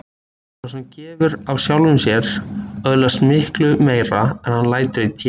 Sá sem gefur af sjálfum sér öðlast miklu meira en hann lætur í té.